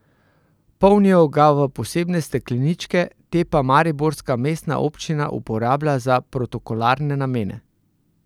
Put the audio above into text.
Polnijo ga v posebne stekleničke, te pa mariborska mestna občina uporablja za protokolarne namene.